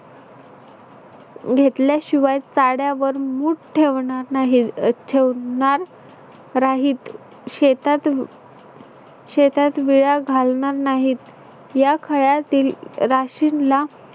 घेतल्याशिवाय चाड्यावर मूठ ठेवणार नाही ठेवणार नाहीत. शेतात शेतात विळा घालणार नाहीत. या खळ्यातील राशींला